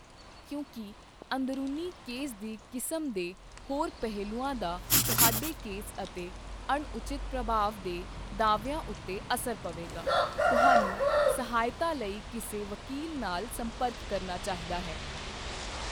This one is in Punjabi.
ਕਿਉਂਕਿ ਅੰਦਰੂਨੀ ਕੇਸ ਦੀ ਕਿਸਮ ਦੇ ਹੋਰ ਪਹਿਲੂਆਂ ਦਾ ਤੁਹਾਡੇ ਕੇਸ ਅਤੇ ਅਣਉਚਿਤ ਪ੍ਰਭਾਵ ਦੇ ਦਾਅਵਿਆਂ ਉੱਤੇ ਅਸਰ ਪਵੇਗਾ, ਤੁਹਾਨੂੰ ਸਹਾਇਤਾ ਲਈ ਕਿਸੇ ਵਕੀਲ ਨਾਲ ਸੰਪਰਕ ਕਰਨਾ ਚਾਹੀਦਾ ਹੈ।